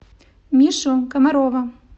мишу комарова